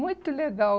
Muito legal.